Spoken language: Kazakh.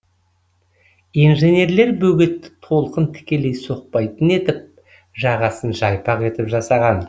инженерлер бөгетті толқын тікелей соқпайтын етіп жағасын жайпақ етіп жасаған